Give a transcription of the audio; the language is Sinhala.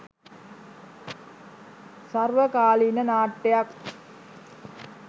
සර්වකාලීන නාට්‍යයක්.